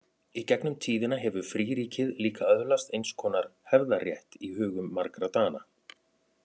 Í gegnum tíðina hefur fríríkið líka öðlast eins konar hefðarrétt í hugum margra Dana.